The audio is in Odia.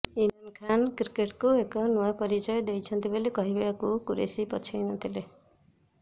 ଇମ୍ରାନ୍ ଖାନ୍ କ୍ରିକେଟ୍କୁ ଏକ ନୂଆ ପରିଚୟ ଦେଇଛନ୍ତି ବୋଲି କହିବାକୁ କୁରେସୀ ପଛେଇ ନ ଥିଲେ